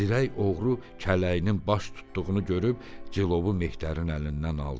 Zirək oğru kələyinin baş tutduğunu görüb, cilovu mehdərin əlindən aldı.